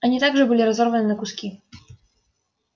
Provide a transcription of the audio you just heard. они также были разорваны на куски